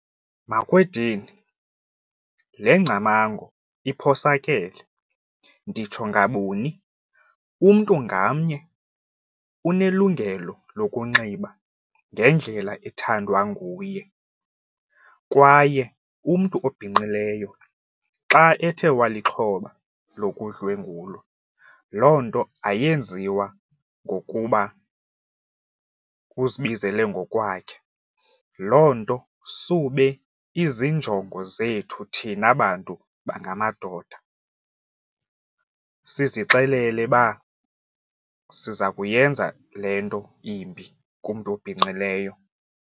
Makwedini, le ngcamango iphosakele. Nditsho ngabuni? Umntu ngamnye unelungelo lokunxiba ngendlela ethandwa nguye kwaye umntu obhinqileyo xa ethe walixhoba lokudlwengulwa loo nto ayenziwa ngokuba uzibizele ngokwakhe. Loo nto sube izinjongo zethu thina bantu bangamadoda, sizixelele uba siza kuyenza le nto imbi kumntu obhinqileyo.